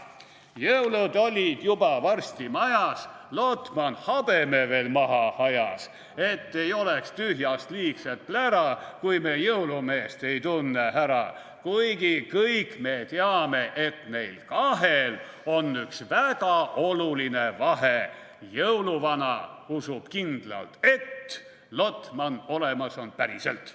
/ Jõulud olid juba varsti majas, / Lotman habeme veel maha ajas, / et ei oleks tühjast liigset plära, / kui me jõulumeest ei tunne ära, / kuigi kõik me teame, et neil kahel / on üks väga oluline vahe: / jõuluvana usub kindlalt, et / Lotman olemas on päriselt.